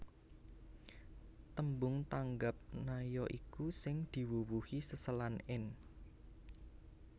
Tembung tanggap na ya iku sing diwuwuhi seselan in